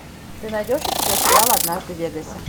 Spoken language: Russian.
ты найдешь у себя сериал однажды в вегасе